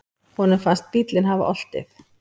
Honum finnst bíllinn hafa oltið.